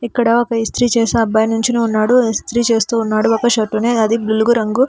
ఇక్కడ ఒక ఇస్త్రీ చేసే అబ్బాయి నించుని ఉన్నాడు ఇస్త్రీ చేస్తూ ఉన్నాడు ఒక షర్టుని అది బులుగు రంగు.